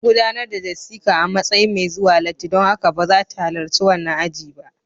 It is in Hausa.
An gudanar da Jessica a matsayin mai zuwa latti, don haka ba za ta halarci wannan aji ba